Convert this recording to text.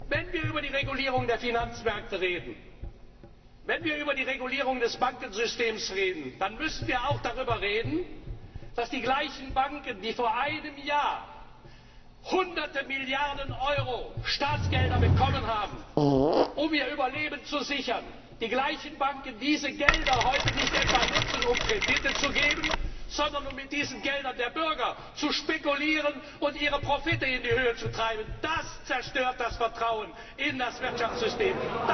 Wenn wir über die Regulierung der Finanzmärkte und über die Regulierung des Bankensystems reden, dann müssen wir auch darüber reden, dass die gleichen Banken, die vor einem Jahr hunderte Milliarden Euro Staatsgelder bekommen haben, um ihr Überleben zu sichern, diese Gelder heute nicht etwa dazu nutzen, um Kredite zu geben, sondern um mit diesen Geldern der Bürger zu spekulieren und ihre Profite in die Höhe zu treiben. Das zerstört das Vertrauen in das Wirtschaftssystem!